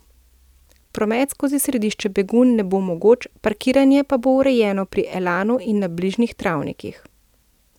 Promet skozi središče Begunj ne bo mogoč, parkiranje pa bo urejeno pri Elanu in na bližnjih travnikih.